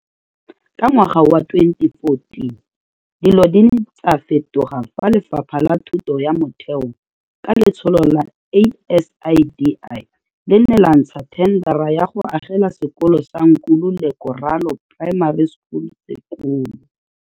Ka ngwaga wa 2014, dilo di ne tsa fetoga fa Lefapha la Thuto ya Motheo, ka letsholo la ASIDI, le ne la ntsha thendara ya go agela sekolo sa Nkululeko Ralo Primary School sekolo.